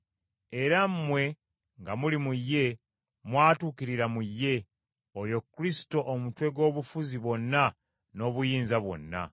era mmwe nga muli mu ye, mwatuukirira mu ye, oyo Kristo omutwe gw’obufuzi bwonna n’obuyinza bwonna.